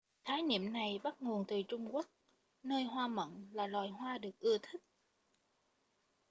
khái niệm này bắt nguồn từ trung quốc nơi hoa mận là loài hoa được ưa thích